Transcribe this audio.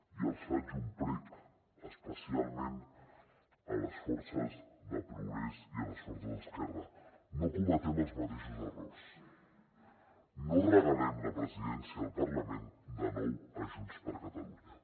i els faig un prec especialment a les forces de progrés i a les forces d’esquerra no cometem els mateixos errors no regalem la presidència del parlament de nou a junts per catalunya